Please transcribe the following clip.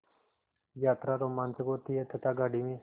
यात्रा रोमांचक होती है तथा गाड़ी में